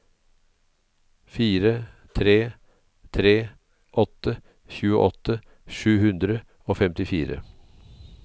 fire tre tre åtte tjueåtte sju hundre og femtifire